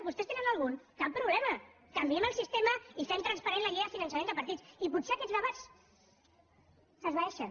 vostès en tenen algun cap problema canviem el sistema i fem transparent la llei de finançament de partits i potser aquests debats s’esvaeixen